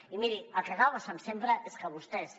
i miri el que acaba passant sempre és que vostès